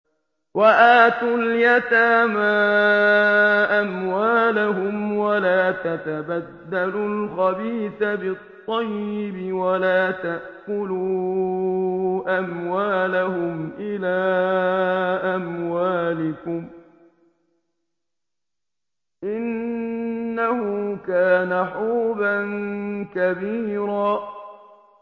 وَآتُوا الْيَتَامَىٰ أَمْوَالَهُمْ ۖ وَلَا تَتَبَدَّلُوا الْخَبِيثَ بِالطَّيِّبِ ۖ وَلَا تَأْكُلُوا أَمْوَالَهُمْ إِلَىٰ أَمْوَالِكُمْ ۚ إِنَّهُ كَانَ حُوبًا كَبِيرًا